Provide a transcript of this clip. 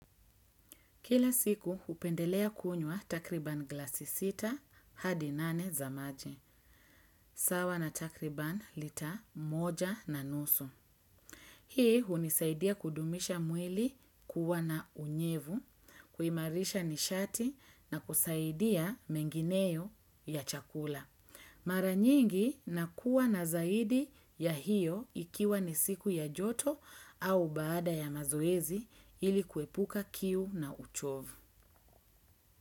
Kila siku hupendelea kunywa takriban glasi sita hadi nane za maji. Sawa na takriban lita moja na nusu. Hii hunisaidia kudumisha mwili kuwa na unyevu, kuimarisha nishati na kusaidia mengineyo ya chakula. Maranyingi nakuwa na zaidi ya hiyo ikiwa ni siku ya joto au baada ya mazoezi ili kuepuka kiu na uchovu.